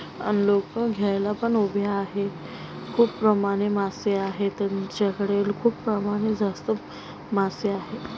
अन लोकं घ्यायला पण उभे आहे खूप प्रमाणे मासे आहे त्यांच्याकडे खूप प्रमाणे जास्त मासे आहे.